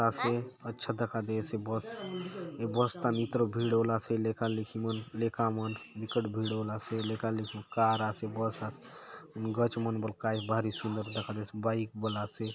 आसे अच्छा दखा देयसे बस ये बस थाने इतरो भीड़ होलासे लेका - लेकि मन लेका मन बिकट भीड़ होलासे लेका- लेकि मन कार आसे बस आसे हुन गच मन काय भारी सुन्दर दखा देयसे बाइक बले आसे ।